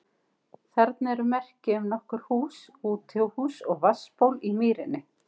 Þarna eru merki um nokkur hús, útihús og vatnsból í mýrinni.